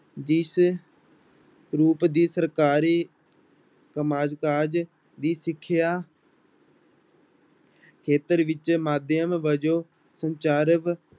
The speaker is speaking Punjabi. ਜਿਸ ਰੂਪ ਦੀ ਸਰਕਾਰੀ ਕੰਮਕਾਜ ਦੀ ਸਿੱਖਿਆ ਖੇਤਰ ਵਿੱਚ ਮਾਧਿਅਮ ਵਜੋਂ ਸੰਚਾਰ